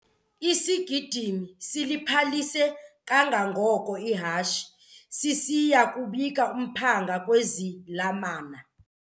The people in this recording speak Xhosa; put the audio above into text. Isigidimi siliphalise kangangoko ihashe sisiya kubika umphanga kwizalamane.